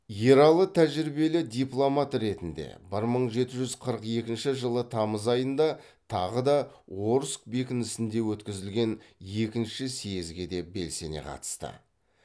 ералы тәжірибелі дипломат ретінде бір мың жеті жүз қырық екінші жылы тамыз айында тағы да орск бекінісінде өткізілген екінші съезге де белсене қатысты